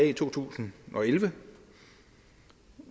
i to tusind og elleve